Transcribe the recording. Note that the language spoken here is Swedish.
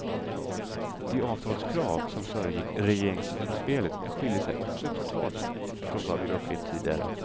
De avtalskrav som föregick regeringsutspelet skiljer sig också totalt från vad vi upplevt tidigare.